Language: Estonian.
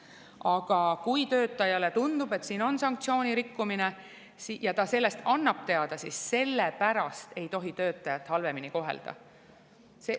Aga kui töötajale tundub, et siin on sanktsioonirikkumine ja ta annab sellest teada, siis selle pärast ei tohi töötajat halvemini kohelda.